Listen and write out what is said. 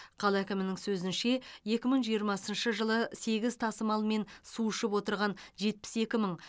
қала әкімінің сөзінше екі мың жиырмасыншы жылы сегіз тасымалмен су ішіп отырған жетпіс екі мың